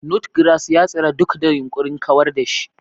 Nutgrass ya tsira duk da yunkurin kawar da shi.